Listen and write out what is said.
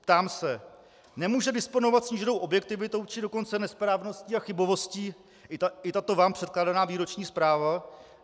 Ptám se: Nemůže disponovat sníženou objektivitou, či dokonce nesprávností a chybovostí i tato vám předkládaná výroční zpráva?